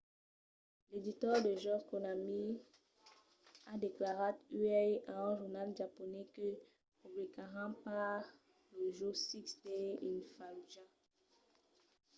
l’editor de jòcs konami a declarat uèi a un jornal japonés que publicaràn pas lo jòc six days in fallujah